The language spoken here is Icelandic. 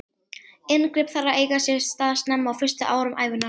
Inngrip þarf að eiga sér stað snemma, á fyrstu árum ævinnar.